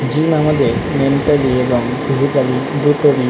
gym আমাদের mentally এবং physically দুটোরই--